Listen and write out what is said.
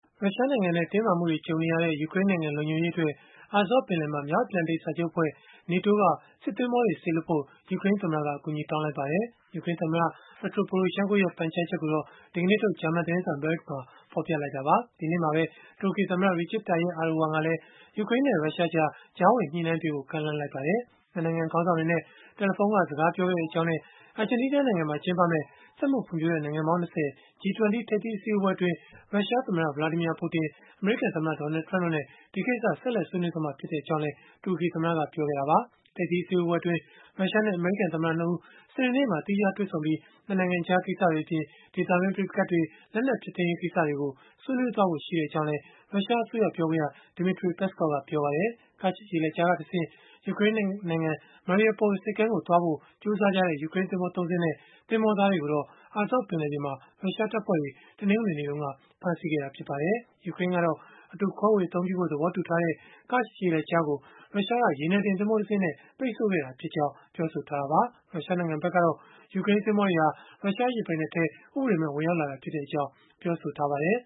ရုရှားနိုင်ငံနဲ့ တင်းမာမှုတွေ ကြုံနေရချိန်မှာ ယူကရိန်းနိုင်ငံ လုံခြုံရေးအတွက် Azov ပင်လယ်မှာ မြောက်အတ္တလန်တိတ်စာချုပ်အဖွဲ့ (NATO) က စစ်သင်္ဘောတွေ စေလွှတ်ဖို့ ယူကရိန်းသမ္မတက အကူအညီ တောင်းလိုက်ပါတယ်။ ယူကရိန်းသမ္မတ Petro Poroshenko ရဲ့ ပန်ကြားချက်ကိုတော့ ဒီကနေ့ထုတ် ဂျာမန်သတင်းစာ Bild မှာ ဖော်ပြခဲ့တာပါ။ ဒီနေ့မှာပဲ တူရကီသမ္မတ Recep Tayyip Erdogan ကလည်း ယူကရိန်းနဲ့ ရုရှားတို့ကြား ကြားဝင်ညှိနှိုင်းပေးဖို့ ကမ်းလှမ်းလိုက်ပါတယ်။ ၂ နိုင်ငံ ခေါင်းဆောင်တွေနဲ့ တယ်လီဖုန်းက စကားပြောခဲ့ကြောင်းနဲ့ အာဂျင်တီးနားနိုင်ငံမှာ ကျင်းပမယ့် စက်မှုဖွံ့ဖြိုးတဲ့ နိုင်ငံပေါင်း ၂၀ (G-20) ထိပ်သီးအစည်းအဝေးအတွင်း ရုရှားသမ္မတ Vladimir Putin အမေရိကန်သမ္မတ Donald Trump တို့နဲ့ ဒီကိစ္စကို ဆက်လက် ဆွေးနွေးသွားမှာဖြစ်ကြောင်းလည်း တူရကီသမ္မတက ပြောဆိုခဲ့တာပါ။ ထိပ်သီးအစည်းအဝေးအတွင်း ရုရှားနဲ့ အမေရိကန်သမ္မတ ၂ ဦး စနေနေ့မှာ သီးခြားတွေ့ဆုံပြီး ၂ နိုင်ငံကြား ကိစ္စတွေအပြင်၊ ဒေသတွင်းက ပဋိပက္ခတွေ၊ လက်နက်ဖျက်သိမ်းရေး ကိစ္စတွေကို ဆွေးနွေးသွားဖို့ ရှိကြောင်းလည်း ရုရှားအစိုးရ ပြောခွင့်ရ Dmitry Peskov ကပြောပါတယ်။ Kerch ရေလက်ကြားကတဆင့် ယူကရိန်းနိုင်ငံ Mariupol ဆိပ်ကမ်းကိုသွားဖို့ ကြိုးစားခဲ့ကြတဲ့ ယူကရိန်း သင်္ဘော ၃ စင်းနဲ့ သင်္ဘောသားတွေကိုတော့ Azov ပင်လယ်မှာ ရုရှားတပ်ဖွဲ့တွေက တနင်္ဂနွေနေ့မှာပဲ ဖမ်းဆီးခဲ့တာ ဖြစ်ပါတယ်။ ယူကရိန်းကတော့ အတူခွဲေ၀ အသုံးပြုဖို့ သဘောတူထားတဲ့ Kerch ရေလက်ကြားကို ရုရှားက ရေနံတင်သင်္ဘောတစင်းနဲ့ ပိတ်ဆို့ခဲ့ကြောင်း ပြောဆိုထားတာပါ။ ရုရှားနိုင်ငံဘက်ကတော့ ယူကရိန်းသင်္ဘောတွေဟာ ရုရှားရေပိုင်နက်ထဲကို ဥပဒေမဲ့ ဝင်ရောက်လာခဲ့ကြောင်း ပြောဆိုထားပါတယ်